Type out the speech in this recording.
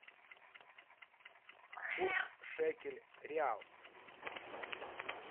курс шекель реал